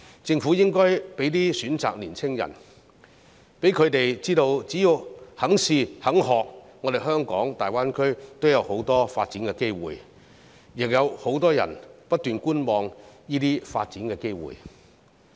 政府應該為青年人提供一些選擇，讓他們知道只要肯嘗試、肯學習，在大灣區也有很多發展機會，亦有很多人不斷觀望這些發展機會。